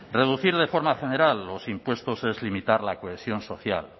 reducir de forma general los impuestos es limitar la cohesión social